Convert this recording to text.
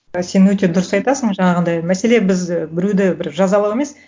і сен өте дұрыс айтасың жаңағындай мәселе біз біреуді бір жазалау емес